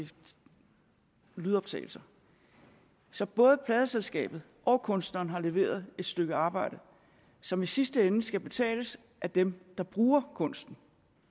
lydoptagelser så både pladeselskabet og kunstneren har leveret et stykke arbejde som i sidste ende skal betales af dem der bruger kunsten